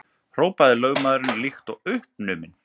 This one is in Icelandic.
hrópaði lögmaðurinn líkt og uppnuminn.